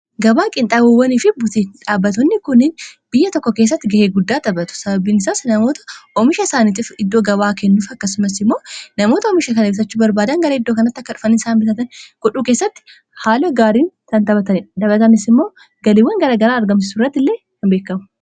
Gabaa qinxaabawwanii fi butii dhaabatunni kuniin biyya tokko keessatti ga'ee guddaa xabatu sababiinisaas namoota oomisha isaaniitiif iddoo gabaa kennuuf akkasumas immoo namoota oomisha kan eemsachu barbaadan gara iddoo kanatti akka dhufani isaan bitatan kudhuu keessatti haala gaariin Kantaphata dhabatanis immoo galiiwwan garagaraa argamsisu irratti illee hin beekamu